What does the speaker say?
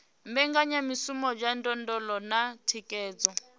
mbekanyamishumo dza ndondolo na thikhedzo